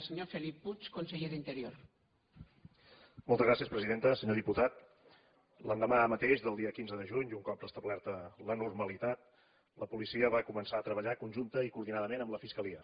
senyor diputat l’endemà mateix del dia quinze de juny i un cop restablerta la normalitat la policia va començar a treballar conjuntament i coordinadament amb la fiscalia